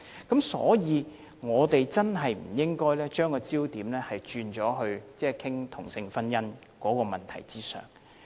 因此，我們真的不應把焦點放在討論同性婚姻的問題上。